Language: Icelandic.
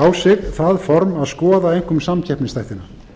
á sig það form að skoða einkum samkeppnisþættina